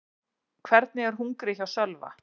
Hvernig er hungrið hjá Sölva?